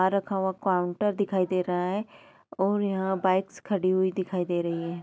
यहाँ रखा हुआ काउंटर दिखाई दे रहा है और यहाँ बाइक्स खड़ी हुई दिखाई दे रही हैं।